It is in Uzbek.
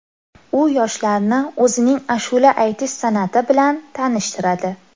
U yoshlarni o‘zining ashula aytish san’ati bilan tanishtiradi.